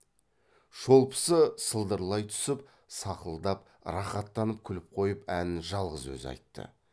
шолпысы сылдырлай түсіп сақылдап рахаттанып күліп қойып әнін жалғыз өзі айтты